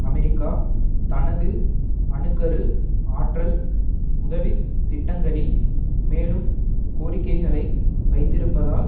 America தனது அணு கரு ஆற்றல் உதவி திட்டங்களில் மேலும் கோரிக்கைகளை வைத்திருப்பதால்